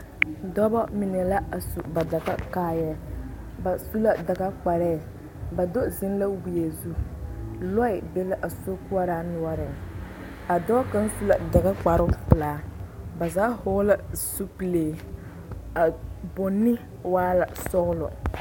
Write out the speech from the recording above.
Dɔbɔ mine la a su ba daga kaayɛɛ ba su la daga kparɛɛ ba do zeŋ la wie zu lɔɛ be la a sokoɔraa noɔreŋ a dɔɔ kaŋ su la daga kparepelaa ba zaa hɔɔle la zupile a bonne waa la sɔglɔ.